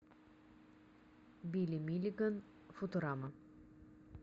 билли миллиган футурама